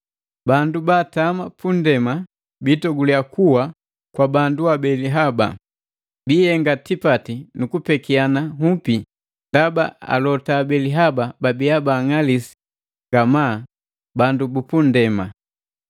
Bandu baatama punndema biitoguliya kuwa kwa bandu abeli haba. Bihenga tipati nuku pekiana nhupi, ndaba alota abeli haba babiya baang'alisi ngamaa bandu bupu nndema.